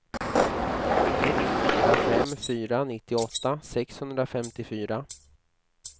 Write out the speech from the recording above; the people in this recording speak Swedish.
ett fyra fem fyra nittioåtta sexhundrafemtiofyra